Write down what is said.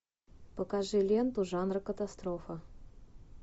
покажи ленту жанра катастрофа